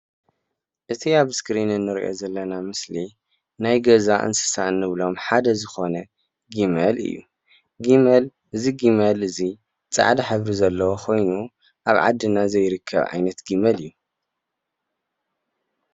እቲ ኣብ እስክሪን እንሪኦ ዘለና ምስሊ ናይ ገዛ እንስሳ እንብሎም ሓደ ዝኮነ ግመል እዩ። ግመል እዚ ግመል እዚ ጻዕዳ ሕብሪ ዘለዎ ኮይኑ ኣብ ዓድና ዘይርከብ ዓይነት ግመል ኣዩ።